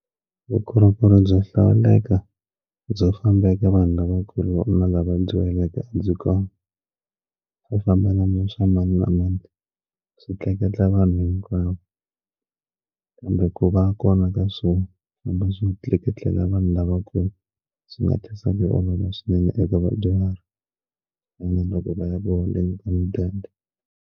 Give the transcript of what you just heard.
Vukorhokeri byo hlawuleka byo fambeki vanhu lavakulu na lava dyuhaleke byi kota ku famba namuntlha mani na mani swi tleketla vanhu hinkwavo kambe ku va kona ka swo famba swin'we tleketlelaku vanhu lavakulu swi nga tlherisa yi olova swinene eka vadyuhari loko vaya ku holeni ka mudende.